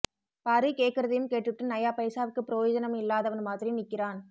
பாரு கேக்குறதையும் கேட்டுபுட்டு நையா பைசாவுக்கு ப்ரயோஜனம் இல்லாதவன் மாதிரி நிக்கிறான்